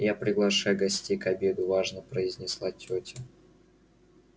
я приглашаю гостей к обеду важно произнесла тётя